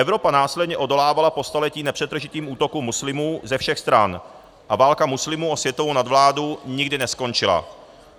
Evropa následně odolávala po staletí nepřetržitým útokům muslimů ze všech stran a válka muslimů o světovou nadvládu nikdy neskončila.